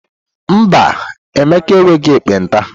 Mba, Emeka enweghị ekpenta.